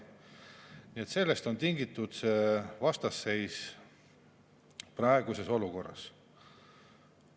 Nii et sellest on tingitud vastasseis praeguses olukorras.